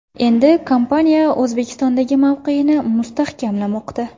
Endi kompaniya O‘zbekistondagi mavqeyini mustahkamlamoqda.